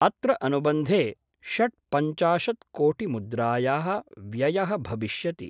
अत्र अनुबन्धे षट् पंचाशत्कोटिमुद्रायाः व्ययः भविष्यति।